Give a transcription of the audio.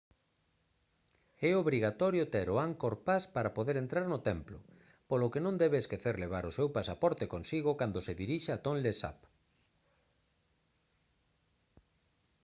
é obrigatorio ter o angkor pass para poder entrar no templo polo que non debe esquecer levar o seu pasaporte consigo cando se dirixa a tonle sap